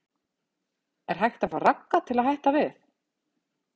Er hægt að fá Ragga til að hætta við?